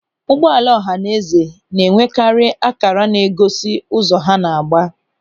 Ụgbọala ọhanaeze na-enwekarị ákàrà na-egosi ụzọ ha na-agba.